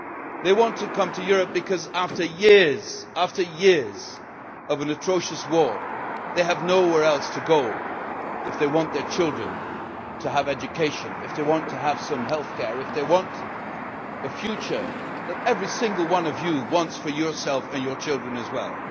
They want to come to Europe because after years of an atrocious war, they have nowhere else to go if they want their children to have an education, if they want to have healthcare, if they want a future that every single one of you wants for yourself and your children as well.